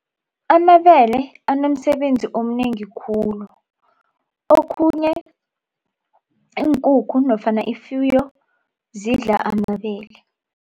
Amabele anomsebenzi omnengi khulu. Okhunye iinkukhu nofana ifuyo zidla amabele.